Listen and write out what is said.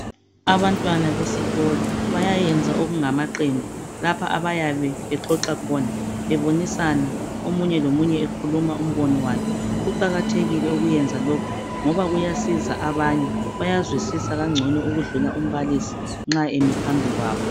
Abantwana besikolo bayenza okungamaqembu lapho abayabe bexoxa khona bebonisana omunye lomunye ekhuluma umbono wakhe. Kuqakathekile ukwenza lokhu ngoba kuyasiza abanye, bayazwisisa ngcono ukwedlula nxa umbalisi emi phambi kwabo.